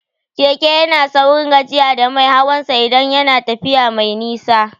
Keke yana saurin gajiyar da mai hawan sa idan yana tafiya mai nisa